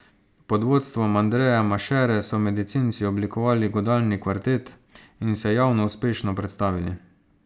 Pod vodstvom Andreja Mašere so medicinci oblikovali godalni kvartet in se javno uspešno predstavili.